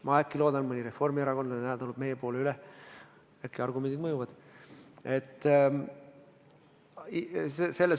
Ma loodan, et äkki mõni reformierakondlane tuleb täna meie poole üle, äkki argumendid mõjuvad.